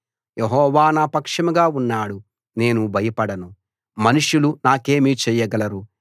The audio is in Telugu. యెహోవా నా పక్షంగా ఉన్నాడు నేను భయపడను మనుషులు నాకేమి చేయగలరు